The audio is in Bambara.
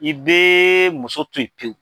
I bɛ muso to yen pewu